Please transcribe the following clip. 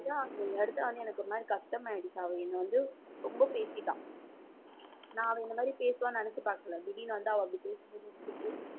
எனக்கு ஒரு மாதிரி கஷ்டம் ஆயிடுச்சு. அவள் என்னை வந்து ரொம்ப பேசிட்டா நான் அதுக்கு முன்னாடி பேசுவான்னு நினைச்சு பார்க்கல திடீர்ன்னு வந்து அவள் அப்படி பேசும்போது எனக்கு எப்படியிருக்கும்